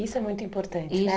Isso é muito importante, né?